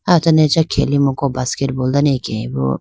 aho done acha khelemuko basketball dane akeyaboo.